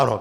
Ano.